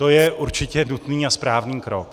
To je určité nutný a správný krok.